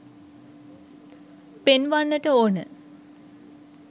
පෙන්වන්නට ඕන.